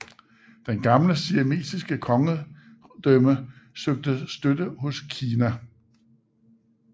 Det gamle siamesiske kongedømme søgte støtte hos Kina